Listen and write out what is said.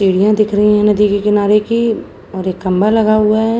सीढियाँ दिख रही हैं नदी के किनारे की और एक खम्भा लगा हुआ है।